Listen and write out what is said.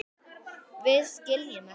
Við skiljum ekki.